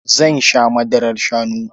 Zan sha madarar shanu.